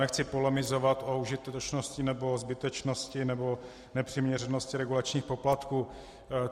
Nechci polemizovat o užitečnosti nebo o zbytečnosti nebo nepřiměřenosti regulačních poplatků.